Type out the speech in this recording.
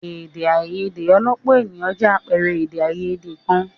Èdè àìyedè ọlọ́pọ̀ ènìyàn jẹ́ àpẹẹrẹ èdè àìyedè kan.